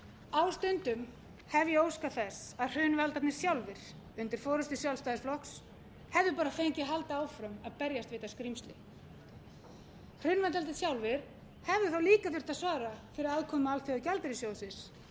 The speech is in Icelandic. á stundum hef ég óskað þess að hrunvaldarnir sjálfir undir forustu sjálfstæðisflokks hefðu bara fengið að halda áfram að berjast við þetta skrímsli hrunvaldarnir sjálfir hefðu þá líka þurft að svara fyrir aðkomu alþjóðagjaldeyrissjóðsins þeir